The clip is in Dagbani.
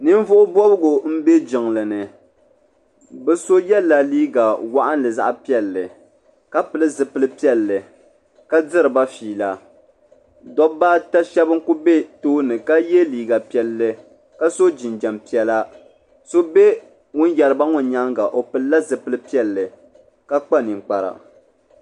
Ninvuɣu bobgu m be jinglini bɛ so yela liiga waɣinli zaɣa piɛlli ka pili zipil piɛlli ka diri ba fiila dobba ata Sheba n kuli be tooni ka ye liiga piɛlli ka so jinjiɛm piɛla so be ŋun yeriba maa nyaanga o pilila zipil piɛlli ka kpa ninkpara.